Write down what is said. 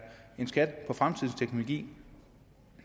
en skat på fremtidens teknologi